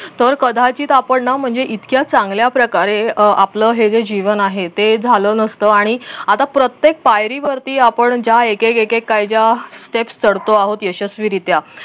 तर कदाचित आपण ना इतक्या चांगल्या प्रकारे आपलं हे जे जीवन आहे ते झालं नसत आणि आता प्रत्येक पायरीवरती आपण ज्या एक एक एक काय ज्या त्याच चढतो आहोत यशस्वीरीत्या